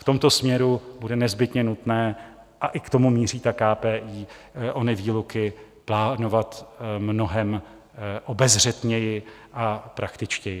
V tomto směru bude nezbytně nutné, a i k tomu míří ta KPI, ony výluky plánovat mnohem obezřetněji a praktičtěji.